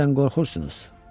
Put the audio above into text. Deyəsən qorxursunuz.